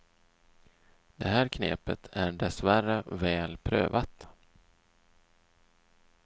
Det här knepet är dessvärre väl prövat.